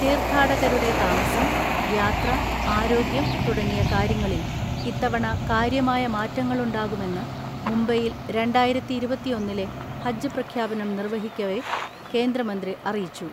തീർത്ഥാടകരുടെ താമസം, യാത്ര, ആരോഗ്യം തുടങ്ങിയ കാര്യങ്ങളിൽ ഇത്തവണ കാര്യമായ മാറ്റങ്ങളുണ്ടാകുമെന്ന് മുംബൈയിൽ രണ്ടായിരത്തിഇരുപത്തിഒന്നിലെ ഹജ്ജ് പ്രഖ്യാപനം നിർവഹിക്കവെ കേന്ദ്രമന്ത്രി അറിയിച്ചു.